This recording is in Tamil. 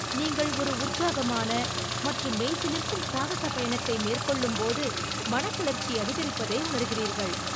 நீங்கள் ஒரு உற்சாகமான மற்றும் மெய்சிலிர்க்கும் சாகச பயணத்தை மேற்கொள்ளும்போது, மனக்கிளர்ச்சி அதிகரிப்பதை உணர்கிறீர்கள்.